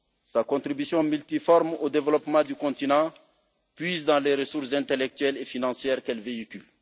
Sa contribution multiforme au développement du continent puise dans les ressources intellectuelles et financières qu'elle véhicule.